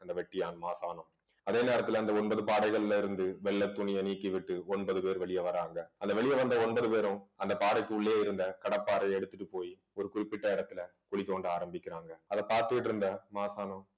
அந்த வெட்டியான் மாசானம் அதே நேரத்துல அந்த ஒன்பது பாடைகள்ல இருந்து வெள்ளைத் துணியை நீக்கிவிட்டு ஒன்பது பேர் வெளியே வர்றாங்க வெளியே வந்த ஒன்பது பேரும் அந்த பாடைக்கு உள்ளே இருந்த கடப்பாரையை எடுத்துட்டு போய் ஒரு குறிப்பிட்ட இடத்துல குழி தோண்ட ஆரம்பிக்கிறாங்க அதை பார்த்துக்கிட்டு இருந்த மாசாணம்